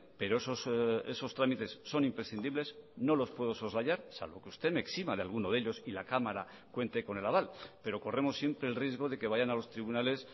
pero esos trámites son imprescindibles no los puedo soslayar salvo que usted me exima de alguno de ellos y la cámara cuente con el aval pero corremos siempre el riesgo de que vayan a los tribunales